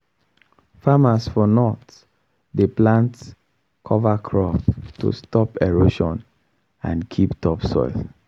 farmers for north dey plant cover crop to stop erosion and keep topsoil